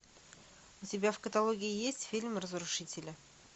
у тебя в каталоге есть фильм разрушители